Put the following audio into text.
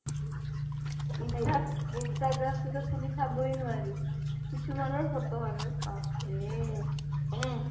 insta instagram টোতো খুলি চাবই নোৱাৰি কিছুমানৰ photo আৰু বাপৰে